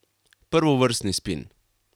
Prvovrstni spin.